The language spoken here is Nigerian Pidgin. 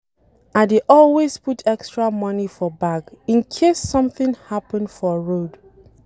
I dey always put extra money for bag in case something happen for road